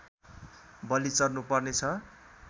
बलि चढ्नु पर्नेछ